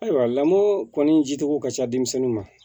Ayiwa lamɔ kɔni jitogo ka ca denmisɛnninw ma